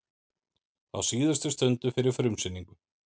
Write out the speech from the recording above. Á síðustu stundu fyrir frumsýningu